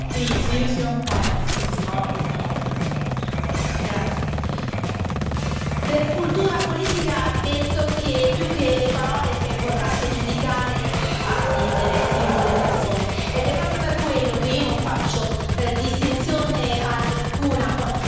Onorevole Polčák, per cultura politica, penso che più che le parole sia importante giudicare i fatti delle singole persone, ed è proprio per quello che io non faccio distinzione alcuna quando si parla di terrorismo.